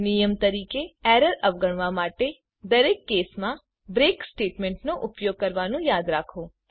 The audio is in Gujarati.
નિયમ તરીકે એરર અવગણવા માટે દરેક કેસમાં બ્રેક સ્ટેટમેન્ટનો ઉપયોગ કરવાનું યાદ રાખો